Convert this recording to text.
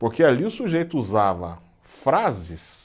Porque ali o sujeito usava frases